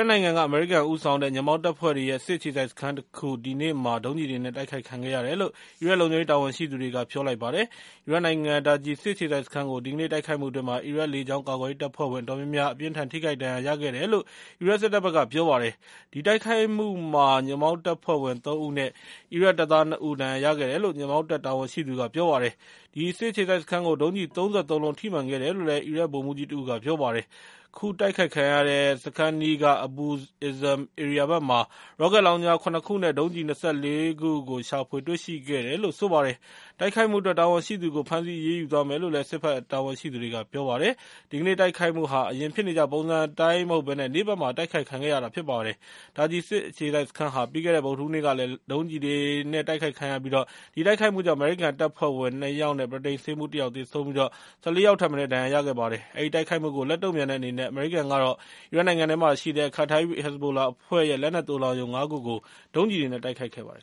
တ်နိုင်ငံက အမေရိကန်ဦးဆောင်တဲ့ ညွန့်ပေါင်းတပ်ဖွဲ့တွေရဲ့ စစ်အခြေစိုက်စခန်းတခု ဒီနေ့မှာ ဒုံးကျည်တွေနဲ့ တိုက်ခိုက်ခံခဲ့ရတယ်လို့ အီရတ်လုံခြုံရေး တာဝန်ရှိသူတွေက ပြောလိုက်ပါတယ်။ အီရတ်နိုင်ငံက Taji စစ်အခြေစိုက်စခန်းကို ဒီကနေ့ တိုက်ခိုက်မှုအတွင်း အီရတ်လေကြောင်း ကာကွယ်ရေးတပ်ဖွဲ့ဝင် အတော်များများ အပြင်းအထန် ထိခိုက်ဒဏ်ရာ ရခဲ့ကြတယ်လို့ အီရတ်စစ်တပ်က ပြောပါတယ်။ ဒီတိုက်ခိုက်မှုမှာ ညွန့်ပေါင်းတပ်ဖွဲ့ဝင် ၃ ဦးနဲ့ အီရတ်တပ်သား ၂ ဦး ဒဏ်ရာရခဲ့တယ်လု့ိ ညွန့်ပေါင်းတပ် တာဝန်ရှိသူက ပြောပါတယ်။ အဲဒီစစ်အခြေစိုက်စခန်းကို ဒုံးကျည် ၃၃ လုံး ထိမှန်ခဲ့တယ်လို့ အီရတ် ဗိုလ်မှူးကြီးတဦးက ပြောပါတယ်။ ခုတိုက်ခံရတဲ့ စခန်းအနီးက Abu Izam ဧရိယာဘက်မှာ ရော့ကက်လောင်ချာ ၇ ခုနဲ့ ဒုံးကျည် ၂၄ စင်း ရှာဖွေတေ့ွရှိခဲ့တယ်လို့လည်း ဆိုပါတယ်။ တိုက်ခိုက်မှုအတွက် တာဝန်ရှိသူကို ဖမ်းဆီးအရေးယူသွားမယ်လို့လည်း စစ်ဘက်တာဝန်ရှိသူတွေက ပြောပါတယ်။ ဒီကနေ့တိုက်ခိုက်မှုဟာ အရင်ဖြစ်နေကျ ပုံစံအတိုင်းမဟုတ်ဘဲ နေ့ဘက်မှာ တိုက်ခိုက်ခံရတာ ဖြစ်ပါတယ်။ Taji စစ်အခြေစိုက်စခန်းဟာ ပြီးခဲ့တဲ့ဗုဒ္ဓဟူးနေ့ကလည်း ဒုံးကျည်တွေနဲ့ တိုက်ခိုက်ခံခဲ့ရပြီး အဲဒီတိုက်ခိုက်မှုကြောင့် အမေရိကန်တပ်ဖွဲ့ဝင် ၂ ယောက်နဲ့ ဗြိတိန်ဆေးမှူး ၁ ယောက် သေဆုံးပြီး ၁၄ ယောက်ထက်မနည်း ဒဏ်ရာရခဲ့ပါတယ်။ အဲဒီတိုက်ခိုက်မှုကိုလက်တုံ့ပြန်တဲ့အနေနဲ့ အမေရိကန်က အီရတ်နိုင်ငံမှာရှိတဲ့ Kataib Hezbollah အဖွဲ့ရဲ့ လက်နက်သိုလှောင်ရုံ ၅ ခုကို ဒုံးကျည်တွေနဲ့ တိုက်ခိုက်ခဲ့ပါတယ်